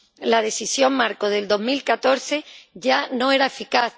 La Decisión marco de 2014 ya no era eficaz